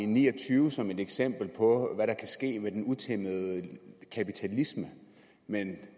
ni og tyve som et eksempel på hvad der kan ske med den utæmmede kapitalisme men